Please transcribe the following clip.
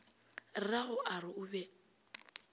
rrago a re o be